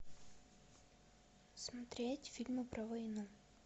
смотреть фильмы про войну